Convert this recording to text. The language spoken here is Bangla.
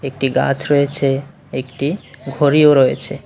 একটি গাছ রয়েছে একটি ঘড়িও রয়েছে।